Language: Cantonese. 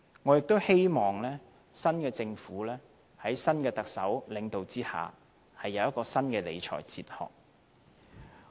我亦希望新一屆政府在新的特首領導下，有新的理財哲學。